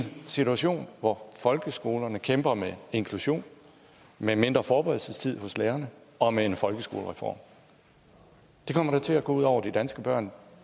situation hvor folkeskolerne kæmper med inklusion med mindre forberedelsestid for lærerne og med en folkeskolereform det kommer da til at gå ud over de danske børn